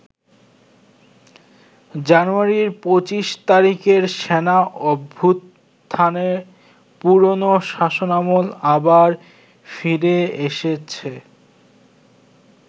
জানুয়ারির ২৫ তারিখের সেনা অভ্যুত্থানে পুরনো শাসনামল আবার ফিরে এসেছে।